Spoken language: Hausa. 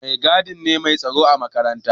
Mai gadi ne mai tsaro a makaranta.